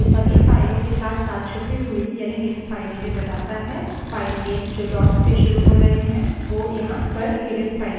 ये सभी फाइलों के साथसाथ छुपी हुई यानि hidden files भी बताता है files नेम जो dot से शुरू हो रहे हैं वो यहाँ पर hidden files हैं